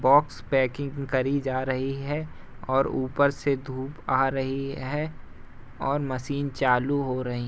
Box packing करी जा रही है और ऊपर से धूप आ रही है और मशीन चालू हो रही।